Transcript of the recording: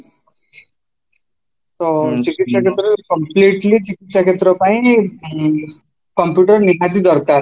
ତ ଚିକିସ୍ୟା କ୍ଷେତ୍ରରେ completely ଚିକିସ୍ୟା କ୍ଷେତ୍ରପାଇଁ ଉଁ computer ନିହାତି ଦରକାର